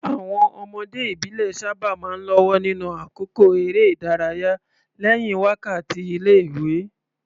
Àwọn ọmọdé ìbílẹ̀ sábà máa ń lọ́wọ́ nínú àkókò eré ìdárayá lẹ́yìn wákàtí ilé-ìwé.